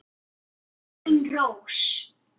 Elín Rós.